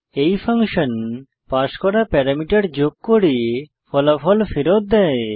এই function pass করা parameter যোগ করে ফলাফল ফেরত দেয়